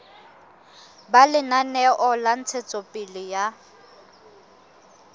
ba lenaneo la ntshetsopele ya